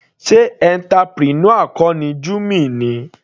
Sé entrepreneur kọ ni Jummy ni.